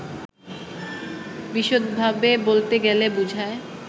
বিশদভাবে বলতে গেলে বুঝায়